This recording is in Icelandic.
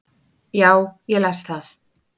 Já, ég las það